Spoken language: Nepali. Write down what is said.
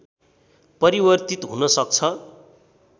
परिवर्तित हुन सक्छ